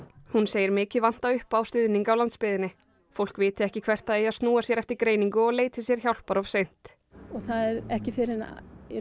hún segir mikið vanta upp á stuðning á landsbyggðinni fólk viti ekki hvert það eigi að snúa sér eftir greiningu og leiti sér hjálpar of seint það er ekki fyrr en